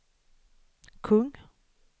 kung